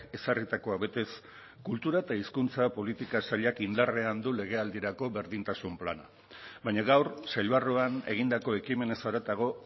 ezarritakoa betez kultura eta hizkuntza politika sailak indarrean du legealdirako berdintasun plana baina gaur sail barruan egindako ekimenez haratago